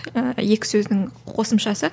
ыыы екі сөздің қосымшасы